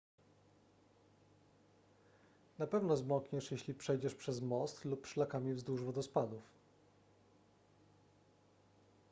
na pewno zmokniesz jeśli przejdziesz przez most lub szlakami wzdłuż wodospadów